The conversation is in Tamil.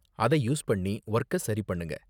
அதை யூஸ் பண்ணி வொர்க்க சரி பண்ணுங்க.